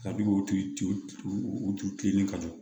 Kabini o tulinin ka jɔ